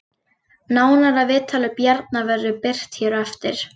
Nánara viðtal við Bjarna verður birt hér á eftir